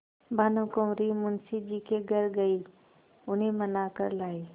भानुकुँवरि मुंशी जी के घर गयी उन्हें मना कर लायीं